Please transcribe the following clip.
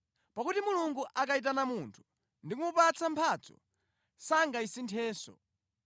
Pakuti Mulungu akayitana munthu ndi kumupatsa mphatso sangasinthenso.